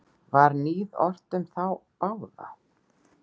Var níð ort um þá báða.